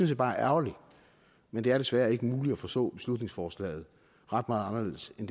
jeg bare er ærgerligt men det er desværre ikke muligt at forstå beslutningsforslaget ret meget anderledes end